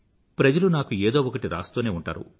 ప్రజలు నాకు ఏదో ఒకటి రాస్తూనే ఉంటారు